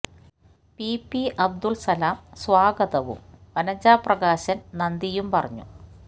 P P Abdul Salam സ്വാഗതവും വനജ പ്രകാശൻ നന്ദിയും പറഞ്ഞു